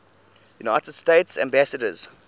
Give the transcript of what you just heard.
united states ambassadors